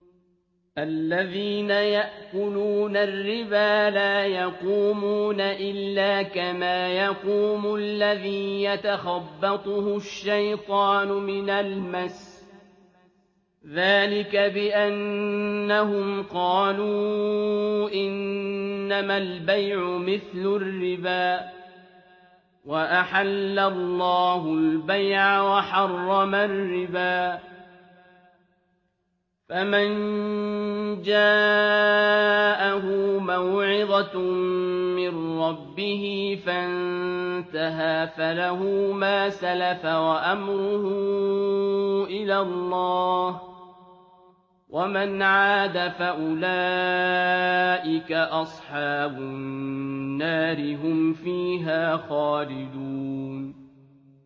الَّذِينَ يَأْكُلُونَ الرِّبَا لَا يَقُومُونَ إِلَّا كَمَا يَقُومُ الَّذِي يَتَخَبَّطُهُ الشَّيْطَانُ مِنَ الْمَسِّ ۚ ذَٰلِكَ بِأَنَّهُمْ قَالُوا إِنَّمَا الْبَيْعُ مِثْلُ الرِّبَا ۗ وَأَحَلَّ اللَّهُ الْبَيْعَ وَحَرَّمَ الرِّبَا ۚ فَمَن جَاءَهُ مَوْعِظَةٌ مِّن رَّبِّهِ فَانتَهَىٰ فَلَهُ مَا سَلَفَ وَأَمْرُهُ إِلَى اللَّهِ ۖ وَمَنْ عَادَ فَأُولَٰئِكَ أَصْحَابُ النَّارِ ۖ هُمْ فِيهَا خَالِدُونَ